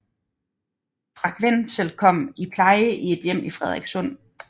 Frank Wenzel kom i pleje i et hjem i Frederikssund